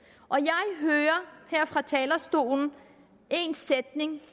jeg fra talerstolen en sætning